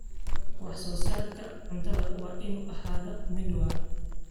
Wax-soo-saarka cuntadu waa inuu ahaadaa mid waara.